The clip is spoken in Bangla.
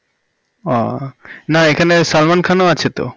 ও না এখানে সালমান খানও আছে তো